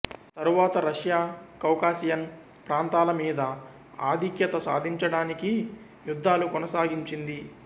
తరువాత Russia Caucasian ప్రాంతాల మీద ఆధిక్యత సాధించడానికి యుద్ధాలు కొనసాగించింది